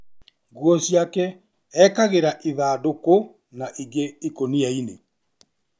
Nguo ciake ekĩraga ĩthandũkũ na ingĩ ikũnia inĩ.